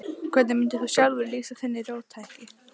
Hvernig mundir þú sjálfur lýsa þinni róttækni?